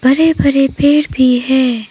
हरे भरे पेड़ भी हैं।